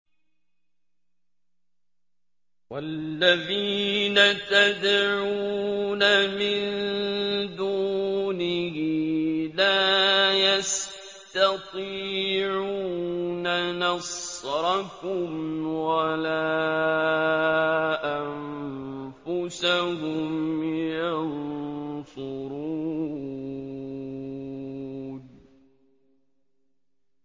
وَالَّذِينَ تَدْعُونَ مِن دُونِهِ لَا يَسْتَطِيعُونَ نَصْرَكُمْ وَلَا أَنفُسَهُمْ يَنصُرُونَ